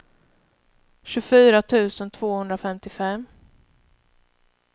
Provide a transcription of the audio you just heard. tjugofyra tusen tvåhundrafemtiofem